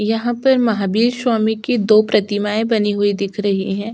यहाँ पर महावीर स्वामी की दो प्रतिमाएँ बनी हुई दिख रही हैं।